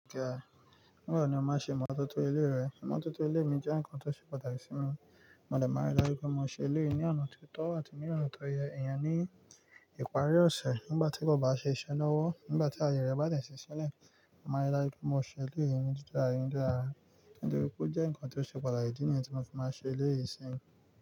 Nígbà wo ni o máa ṣe imọ́tótó ilé rẹ? Imótótó ilé mi jẹ́ ǹkan tó ṣe pàtàkì sí mi, mo dẹ̀ máa rí láju pé mo ṣe eleyí ni ọ̀nà tó tọ́ àti ní ona tó yẹ. Ẹ̀yàn ní ìparí ọ̀sẹ̀ nígbà tí boba ṣe iṣẹ́ lọ́wọ́, nígbà tí ayẹ rẹ̀ bá de ṣi sílẹ̀, màá rí daju pé mo ṣe ilé mi ní tutun se, nítorí pé ó jẹ́ ǹkan tó ṣe pàtàkì ní èyí tí mo fi máa ṣe ilé yìí síyì.